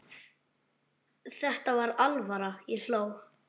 Þetta var alvara, ég hló.